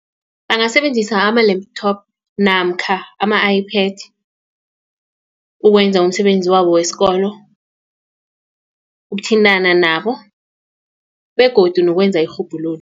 Bangasebenzisa ama-laptop namkha ama-Ipad ukwenza umsebenzi wabo wesikolo ukuthintana nabo begodu nokwenza irhubhululo.